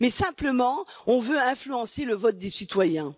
Mais simplement, on veut influencer le vote des citoyens.